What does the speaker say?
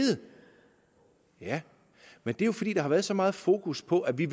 ja men det er jo fordi der har været så meget fokus på at vi